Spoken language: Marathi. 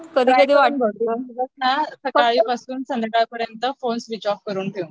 सकाळी पासून संध्याकाळ पर्यंत फोने स्विच ऑफ करून ठेव